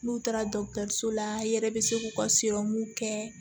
N'u taara dɔgɔtɔrɔso la i yɛrɛ bɛ se k'u ka kɛ